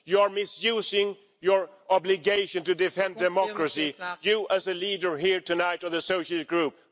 You're misusing your obligation to defend democracy you as a leader here tonight in the Socialist Group.